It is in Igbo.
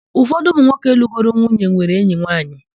Ụfọdụ ụmụ nwoke lụgoro nwunye nwere enyi nwaanyị.